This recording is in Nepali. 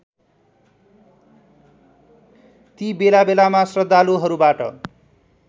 ती बेलाबेलामा श्रद्धालुहरूबाट